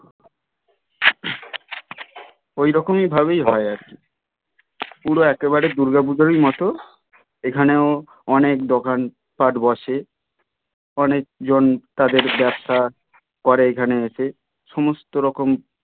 ওই রকমই ভাবেই হয় আর কি কিন্তু একেবারে দূর্গা পূজারোই মতো এখানেও অনেক দোকান পাট বসে অনেক জন তাদের ব্যবসা করে এখানে এসে সমস্ত রকম